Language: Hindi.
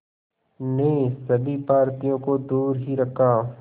ने सभी भारतीयों को दूर ही रखा